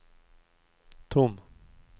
tom